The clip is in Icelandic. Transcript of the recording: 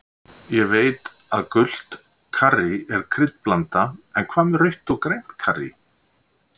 Ég veit að gult karrí er kryddblanda en hvað með rautt og grænt karrí.